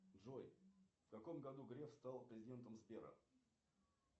джой в каком году греф стал президентом сбера